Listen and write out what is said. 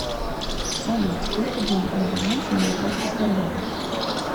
салют сколько денег на балансе моей карты сбербанка